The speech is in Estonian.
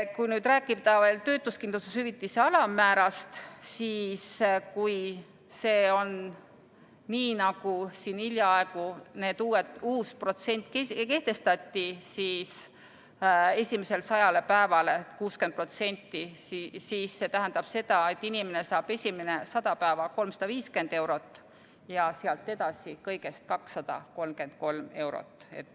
Kui nüüd rääkida veel töötuskindlustushüvitise alammäärast, siis kui see on nii, nagu siin hiljaaegu uus protsent kehtestati, et esimesele sajale päevale 60%, siis see tähendab seda, et inimene saab esimene 100 päeva 350 eurot ja sealt edasi kõigest 233 eurot.